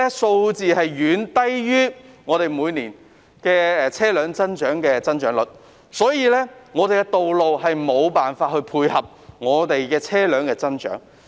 數字遠低於香港每年的車輛增長率，道路無法配合車輛的增長。